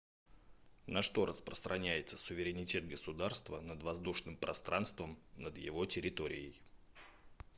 на что распространяется суверенитет государства над воздушным пространством над его территорией